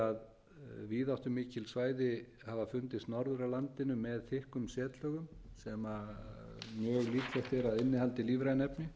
að víðáttumikil svæði hafa fundist norður af landinu með þykkum setlögum sem mjög líklegt er að innihaldi lífræn efni